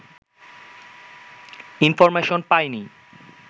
information পাইনি